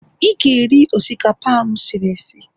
ị ga-eri osikapa a m siri sie.